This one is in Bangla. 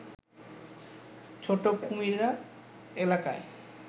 ছোট কুমিরা এলাকায়